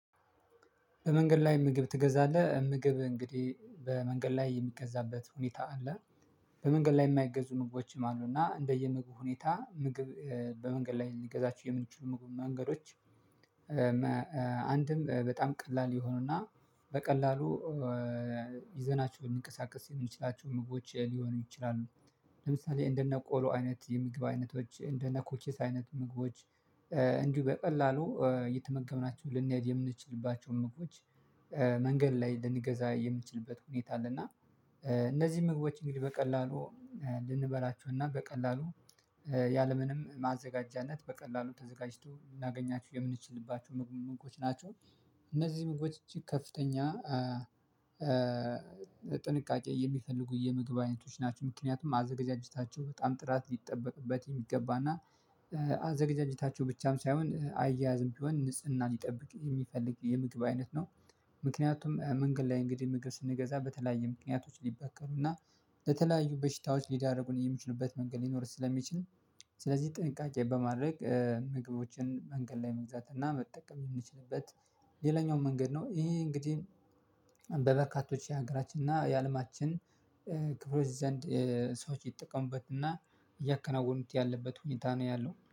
በመንገድ ላይ ምግብ ትገዛለህ ምግብ እንግዲህ በመንገድ ላይ የሚገዛበት ሁኔታ አለ። በመንገድ ላይ የማይገዙ ምግቦችም አሉና እንደየምግብ ሁኔታ ምግብ በመንገድ ላይ ልንገዛችሁ የምንችሉ ምግብ መንገዶች። አንድም በጣም ቀላል የሆኑና በቀላሉ ይዘናችሁ እንንቀሳቀስ ሊሆን ይችላል ምግቦች ሊሆኑ ይችላሉ። ለምሳሌ እንደነ ቆሎ አይነት የምግብ አይነቶች እንደ ኮኪስ አይነት ምግቦች። እንዲሁ በቀላሉ የተመገብናቸውን ልንሄድ የምንችልባቸውን ምግቦች መንገድ ላይ ልንገዛ የምንችልበት ሁኔታ አለ። እና እነዚህ ምግቦች እንግዲህ በቀላሉ ልንበላችሁና በቀላሉ ያለምንም ማዘጋጃነት በቀላሉ ተዘጋጅቶ እናገኛችሁ የምንችልባችሁ ምግቦች ናቸው። እነዚህ ምግቦች እቺ ከፍተኛ ጥንቃቄ የሚፈልጉ የምግባዊነቶች ናቸው። ምክንያቱም አዘጋጅታቸው በጣም ጥራት ሊጠበቅበት የሚገባና አዘጋጅታችሁ ብቻም ሳይሆን አያያዝም ቢሆን ንጽህና ሊጠብቅ የሚፈልግ የምግብ አይነት ነው። ምክንያቱም መንገድ ላይ እንግዲህ ምግብ ስንገዛ በተለያየ ምክንያቶች ሊበከሉና ለተለያዩ በሽታዎች ሊዳረጉን የሚችሉበት መንገድ ሊኖር ስለሚችል። ስለዚህ ጥንቃቄ በማድረግ ምግቦችን መንገድ ላይ መግዛት እና መጠቀም የምንችልበት ሌላኛው መንገድ ነው። ይሄ እንግዲህ በበርካቶች የሀገራችን እና የአለማችን ክፍሎች ዘንድ ሰዎች ይጠቀሙበት እና እያከናወኑት ያለበት ሁኔታ ነው ያለው